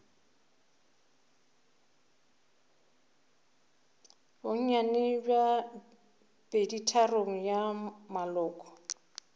bonnyane bja peditharong ya maloko